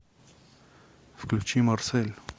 включи марсель